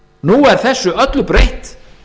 nú er þessu öllu breytt